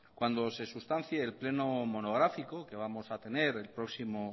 cuando se sustancie el pleno monográfico que vamos a tener el próximo